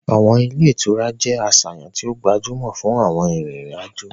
Awọn ile-itura jẹ aṣayan ti o gbajumo fun awọn arinrin-ajo